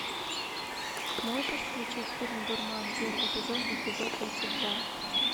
можешь включить фильм дурман первый сезон эпизод тридцать два